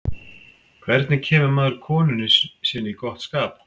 hvernig kemur maður konunni sinni í gott skap